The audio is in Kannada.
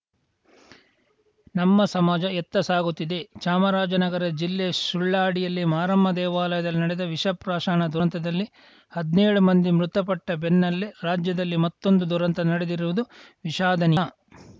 ನಮ್ಮ ಸಮಾಜ ಎತ್ತ ಸಾಗುತ್ತಿದೆ ಚಾಮರಾಜನಗರ ಜಿಲ್ಲೆ ಸುಳ್ಳಾಡಿಯಲ್ಲಿ ಮಾರಮ್ಮ ದೇವಾಲಯದಲ್ಲಿ ನಡೆದ ವಿಷ ಪ್ರಾಶನ ದುರಂತದಲ್ಲಿ ಹದ್ನೇಳು ಮಂದಿ ಮೃತಪಟ್ಟಬೆನ್ನಲ್ಲೇ ರಾಜ್ಯದಲ್ಲಿ ಮತ್ತೊಂದು ದುರಂತ ನಡೆದಿರುವುದು ವಿಷಾದನೀಯ